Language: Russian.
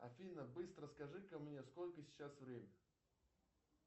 афина быстро скажи ка мне сколько сейчас время